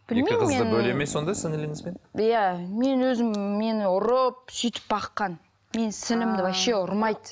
екі қызды бөледі ме сонда сіңліліңізбен иә мені өзім мені ұрып сөйтіп баққан менің сіңлілімді вообще ұрмайды